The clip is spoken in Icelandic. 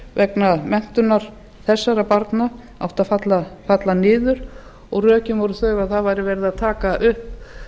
vegna menntunar þessara barna áttu að falla niður og rökin voru þau að það væri verið að taka upp